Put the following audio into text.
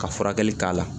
Ka furakɛli k'a la